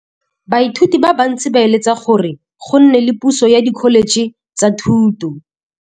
Baithuti ba bantsi ba eletsa gore go nne le pusô ya Dkholetšhe tsa Thuto.